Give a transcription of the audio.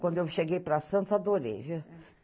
Quando eu cheguei para Santos, adorei viu